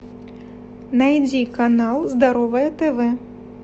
найди канал здоровое тв